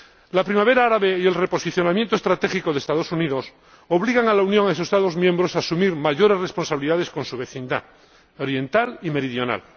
La Primavera Árabe y el reposicionamiento estratégico de los Estados Unidos obligan a la Unión y a sus Estados miembros a asumir mayores responsabilidades con su vecindad, la oriental y la meridional.